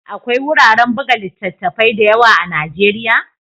Akwai wuraren buga littattafai da yawa a Najeriya?